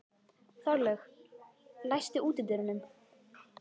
Þorlaug, læstu útidyrunum.